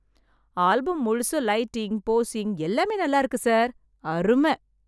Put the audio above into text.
Album முழுசும் lighting, posing எல்லாமே நல்ல இருக்கு சார். அரும!